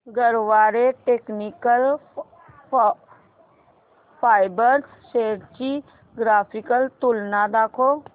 Garware technical fibres shares ची graphical तुलना दाखव